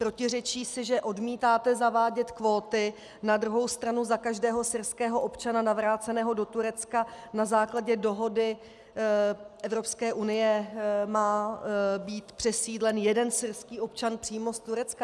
Protiřečí si, že odmítáte zavádět kvóty, na druhou stranu za každého syrského občana navráceného do Turecka na základě dohody Evropské unie má být přesídlen jeden syrský občan přímo z Turecka.